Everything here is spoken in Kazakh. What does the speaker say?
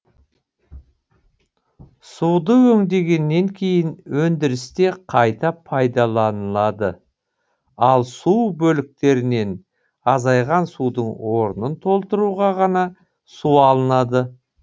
суды өңдегеннен кейін өндірісте қайта пайдаланылады ал су бөліктерінен азайған судың орнын толтыруға ғана су алынады